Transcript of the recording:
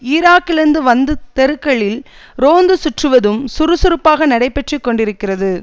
ஈராக்கிலிருந்து வந்து தெருக்களில் ரோந்து சுற்றுவதும் சுறுசுறுப்பாக நடைபெற்று கொண்டிருக்கிறது